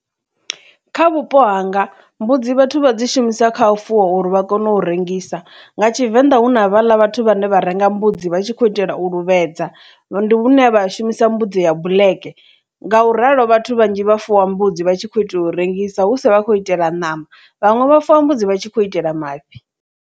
Kha vhupo hanga mbudzi vhathu vha dzi shumisa kha u fuwa uri vha kone u rengisa nga Tshivenḓa hu na vhala vhathu vhane vha renga mbudzi vha tshi khou itela u lu vhuedza ndi vhune vha shumisa mbudzi ya vhuulege ngauralo vhathu vhanzhi vha fuwa mbudzi vha tshi kho itelwa u rengisa hu sa vha khou itela ṋama vhaṅwe vha fuwi mbudzi vha tshi khou itela mafhi.